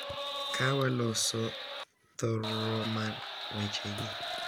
Ka waloso thor-ro mar wechegi,